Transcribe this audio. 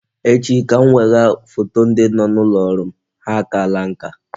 Echi ka m wegha foto ndị dị n'ụlọ ọrụ m, ha akaala nka